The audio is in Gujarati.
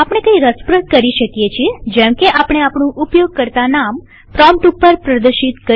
આપણે કઈ રસપ્રદ કરી શકીએજેમકે આપણે આપણું ઉપયોગકર્તા નામ પ્રોમ્પ્ટ ઉપર પ્રદર્શિત કરી શકીએ